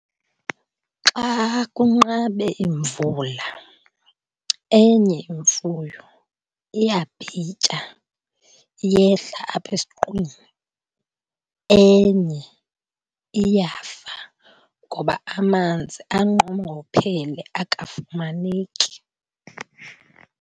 Xa kunqabe imvula enye imfuyo iyabhitya, iyehla apha esiqwini. Enye iyafa ngoba amanzi anqongophele, akafumaneki.